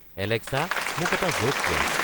Alexa মোক এটা জ'ক কোৱা